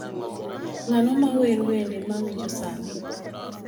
ng'ano ma wer wende ma awinjo sani.